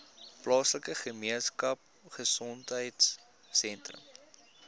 plaaslike gemeenskapgesondheid sentrum